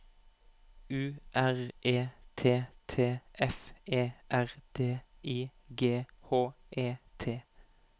U R E T T F E R D I G H E T